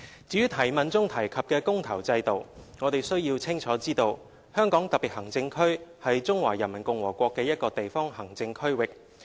至於質詢中提及"公投"制度，我們須清楚知道，香港特別行政區是中華人民共和國的一個地方行政區域。